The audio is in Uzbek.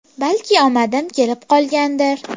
Balki omadim kelib qolgandir.